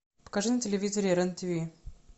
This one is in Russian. покажи на телевизоре рен тиви